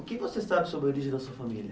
O que você sabe sobre a origem da sua família?